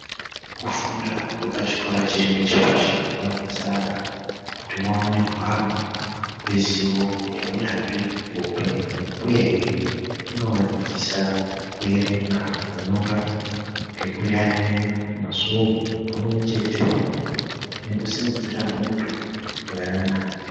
Kufunda kwechikora chiri ngechepashi kunodetsera ana kuti vaone hwaro hwezivo neunyanzvi hweupenyu uyezve chinovadzidzisa kuerenga, kunyora, nekuyaeya, masvomho pamwechete nekusimudzira unthu hweana.